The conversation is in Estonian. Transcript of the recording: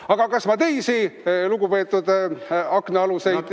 Aga kas ma teisi lugupeetud aknaaluseid ...